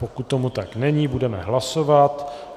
Pokud tomu tak není, budeme hlasovat.